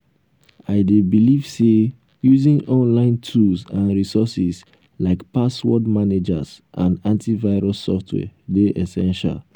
i dey believe say using online tools and resources like password managers and antivirus software dey essential.